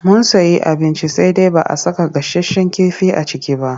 Mun sayi abinci sai dai ba a saka gasasshen kifi a ciki ba.